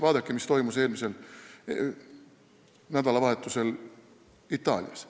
Vaadake, mis toimus eelmisel nädalavahetusel Itaalias.